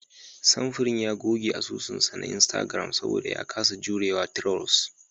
Samfurin ya goge asusun sa na Instagram saboda ya kasa jurewa trolls.